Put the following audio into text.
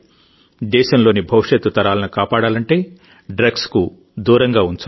దేశంలోని భవిష్యత్తు తరాలను కాపాడాలంటే డ్రగ్స్కు దూరంగా ఉంచాలి